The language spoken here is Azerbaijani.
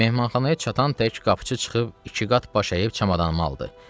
Mehmanxanaya çatan tək qapıçı çıxıb iki qat baş əyib çamadanımı aldı.